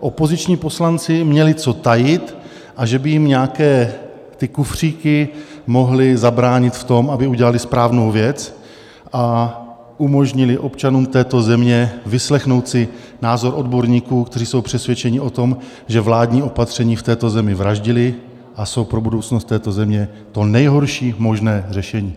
opoziční poslanci měli co tajit a že by jim nějaké ty kufříky mohly zabránit v tom, aby udělali správnou věc a umožnili občanům této země vyslechnout si názor odborníků, kteří jsou přesvědčeni o tom, že vládní opatření v této zemi vraždila a jsou pro budoucnost této země to nejhorší možné řešení.